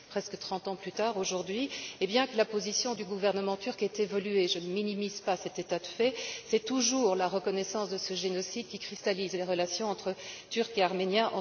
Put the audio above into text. Presque trente ans plus tard aujourd'hui, et bien que la position du gouvernement turc ait évolué je ne minimise pas cet état de fait c'est toujours la reconnaissance de ce génocide qui cristallise les relations entre Turcs et Arméniens.